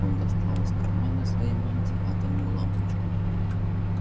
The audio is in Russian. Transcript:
он достал из кармана своей мантии атомную лампочку